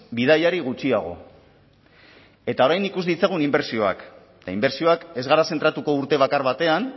bidaiari gutxiago eta orain ikus ditzagun inbertsioak eta inbertsioak ez gara zentratuko urte bakar batean